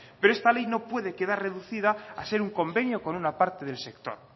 pero esta ley no puede quedar reducida a ser un convenio con una parte del sector